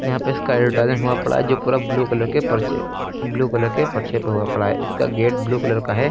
यहां पे इसका एडवर्टाइज़मेंट हुआ पड़ा है जो पूरा ब्लू कलर के पर्चे ब्लू कलर के पर्चे पे हुआ पड़ा है। इसका गेट ब्लू कलर का है।